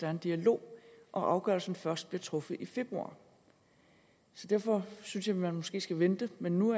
er en dialog og afgørelsen vil først blive truffet i februar så derfor synes jeg man måske skulle vente men nu